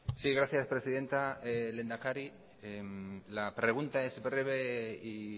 sí gracias presidenta lehendakari la pregunta es breve y